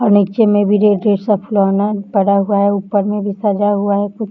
और नीचे में भी जो खिलौना पड़ा हुआ है ऊपर में भी पड़ा हुआ है कुछ --